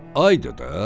"Ayda da.